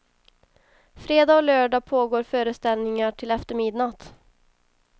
Fredag och lördag pågår föreställningar till efter midnatt.